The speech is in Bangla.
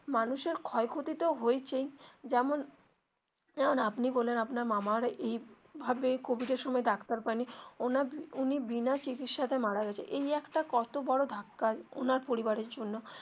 মানুষের ক্ষয় ক্ষতি তো হয়েছেই যেমন যেমন আপনি বললেন আপনার মামার এই ভাবে কোভিড এর সময়ে ডাক্তার পায় নি উনি বিনা চিকিৎসা তে মারা গেছেন এই একটা কত বড়ো ধাক্কা ওনার পরিবারের জন্য.